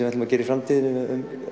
ætlum að gera í framtíðinni með